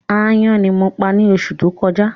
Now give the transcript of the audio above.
Aáyán ní mo pa ni oṣù tó kọjá